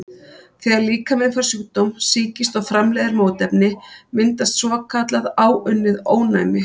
Þegar líkaminn fær sjúkdóm, sýkist, og framleiðir mótefni, myndast svokallað áunnið ónæmi.